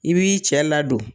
I b'i cɛ ladon.